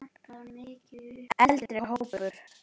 Eldri hópur